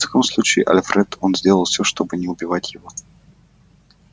в таком случае альфред он сделал всё чтобы не убивать его